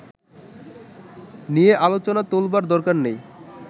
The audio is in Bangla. নিয়ে আলোচনা তোলবার দরকার নেই